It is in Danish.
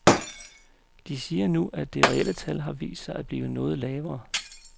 De siger nu, at det reelle tal har vist sig at blive noget lavere.